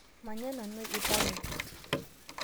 Manya nanu lpayeg